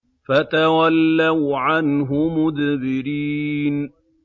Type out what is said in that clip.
فَتَوَلَّوْا عَنْهُ مُدْبِرِينَ